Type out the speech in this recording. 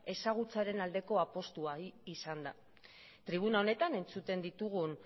ezagutzaren aldeko apustua da tribuna honetan entzuten ditugun